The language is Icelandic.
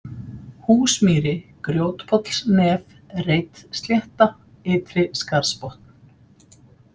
Húsmýri, Grjótpollsnef, Reitslétta, Ytri-Skarðsbotn